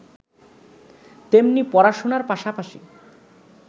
তেমনি পড়াশোনার পাশাপাশি